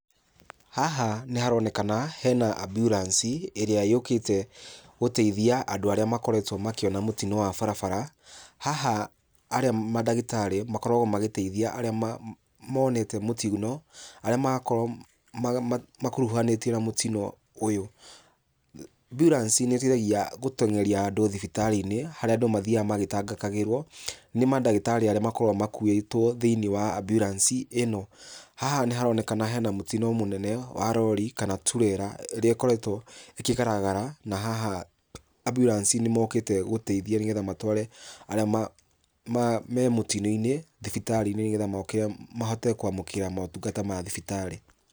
Haha nĩharonekana hena amburanci ĩrĩa yũkĩte gũteithia andũ arĩa makoretwo makĩona mũtino wa barabara. Haha mandagĩtarĩ makoragwo magĩteithia arĩa monete mũtino, arĩa makorwo makuruhanĩtio na mũtino ũyũ. Amburanci nĩteithagia gũteng'eria andũ thibitarĩ-inĩ harĩa andũ mathiaga magĩtangĩkagĩrwo nĩ mandagĩtarĩ arĩa makoragwo makuĩtwo thĩiniĩ wa amburanci ĩno. Haha nĩharonekana hena mũtino mũnene wa rori kana turera ĩrĩa ĩkoretwo ĩkĩgaragara na haha amburanci nĩmokĩte gũteithia, nĩgetha matware arĩa me mũtino-inĩ thibitarĩ-inĩ, nĩgetha mahote kwamũkĩra motungata ma thibitarĩ.